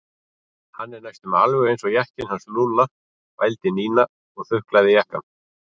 Hann er næstum alveg eins og jakkinn hans Lúlla vældi Nína og þuklaði jakkann.